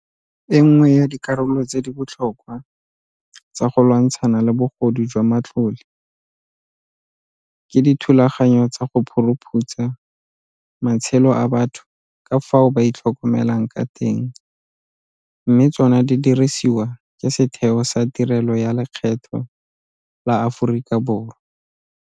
E nngwe ya dikarolo tse di botlhokwa tsa go lwantshana le bogodu jwa matlole ke dithulaganyo tsa go phuruphutsa matshelo a batho ka fao ba itlhokomelang ka teng mme tsona di diriswa ke Setheo sa Tirelo ya Lekgetho la Aforika Borwa.